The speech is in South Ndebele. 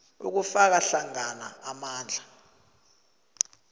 kufaka hlangana amandla